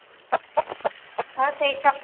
Þar segir Hjalti